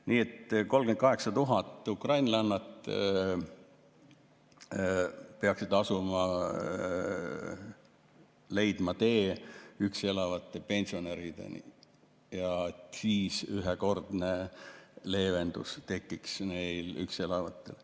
Nii et 38 000 ukrainlannat peaksid leidma tee üksi elavate pensionärideni ja siis tekiks neil üksi elajatel ühekordne leevendus.